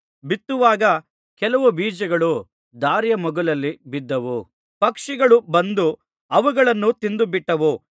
ಬಿತ್ತುವಾಗ ಕೆಲವು ಬೀಜಗಳು ದಾರಿಯ ಮಗ್ಗುಲಲ್ಲಿ ಬಿದ್ದವು ಪಕ್ಷಿಗಳು ಬಂದು ಅವುಗಳನ್ನು ತಿಂದುಬಿಟ್ಟವು